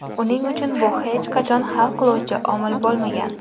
Uning uchun bu hech qachon hal qiluvchi omil bo‘lmagan.